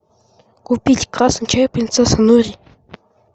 купить красный чай принцесса нури